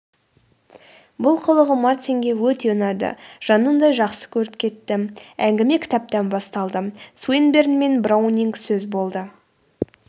бұл қылығы мартинге өте ұнады жанындай жақсы көріп кетті әңгіме кітаптан басталды суинберн мен браунинг сөз болды